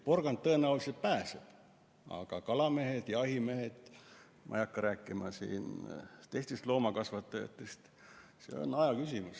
Porgand tõenäoliselt pääseb, aga kalamehed, jahimehed, ma ei hakka rääkima teistest loomakasvatajatest – see on aja küsimus.